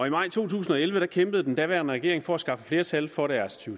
i maj to tusind og elleve kæmpede den daværende regering for at skaffe flertal for deres to